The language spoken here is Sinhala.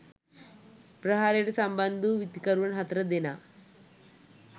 ප්‍රහාරයට සම්බන්ධ වූ විත්තිකරුවන් හතර දෙනා